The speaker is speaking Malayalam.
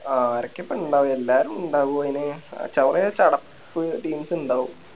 ആരൊക്കെയാ ഇപ്പൊ ഇണ്ടാവോ എല്ലാരും ഇണ്ടാവോ മോനെ കൊറേ ചടപ്പ് Teams ഇണ്ടാവും